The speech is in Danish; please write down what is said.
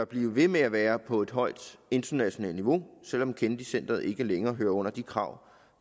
blive ved med at være på et højt internationalt niveau selv om kennedy centret ikke længere hører under de krav